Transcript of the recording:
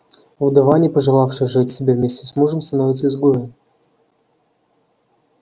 вдова не пожелавшая сжечь себя вместе с мужем становится изгоем